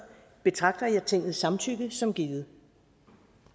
betragter jeg tingets samtykke som givet